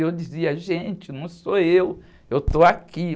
E eu dizia, gente, não sou eu, eu estou aqui.